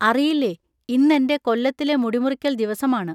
അറിയില്ലേ, ഇന്നെൻ്റെ കൊല്ലത്തിലെ മുടിമുറിക്കൽ ദിവസമാണ്.